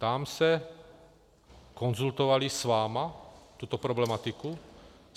Ptám se, konzultovali s vámi tuto problematiku?